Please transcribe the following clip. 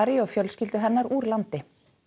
og fjölskyldu hennar úr landi